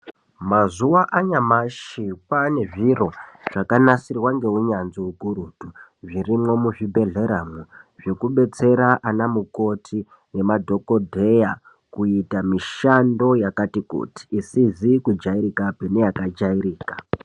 Mazuva anyamashi kwavane nezviro zvakanasirwa ngeunyanzvi hukurutu zvirimwo muzvibhedhlera mwo zvekubetsera ana mukoti nemadhokodheya kuita mishando yakati kuti isizi kujairikapi neyaka jairika.